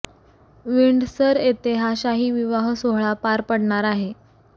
Windsor इथे हा शाही विवाह सोहळा पार पडणार आहे